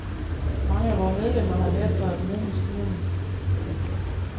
Mange af vore medlemmer har lært sig at bruge maskinerne.